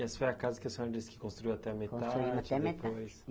E essa foi a casa que a senhora disse que construiu até a metade depois. Construimos até a metade